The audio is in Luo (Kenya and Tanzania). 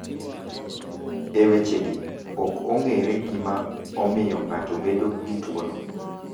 E wechegi, ok ong’ere gima omiyo ng’ato bedo gi tuwono.